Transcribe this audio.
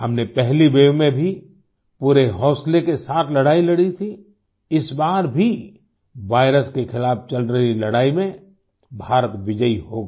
हमने पहली वेव में भी पूरे हौसले के साथ लड़ाई लड़ी थी इस बार भी वायरस के खिलाफ़ चल रही लड़ाई में भारत विजयी होगा